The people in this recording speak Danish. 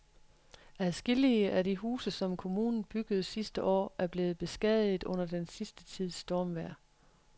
Adskillige af de huse, som kommunen byggede sidste år, er blevet beskadiget under den sidste tids stormvejr.